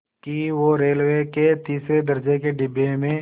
कि वो रेलवे के तीसरे दर्ज़े के डिब्बे में